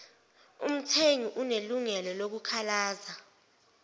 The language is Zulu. umthengi unelungelo lokukhalaza